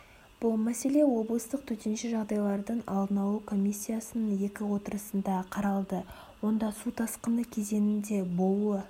бұл мәселе облыстық төтенше жағдайлардың алдын алу комиссиясының екі отырысында қаралды онда су тасқыны кезеңінде болуы